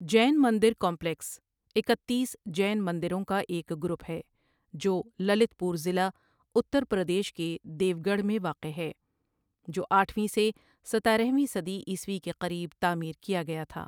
جین مندر کمپلیکس اکتیس جین مندروں کا ایک گروپ ہے جو للت پور ضلع، اتر پردیش کے دیوگڑھ میں واقع ہے جو اٹھ ویں سے ستارہ ویں صدی عیسوی کے قریب تعمیر کیا گیا تھا۔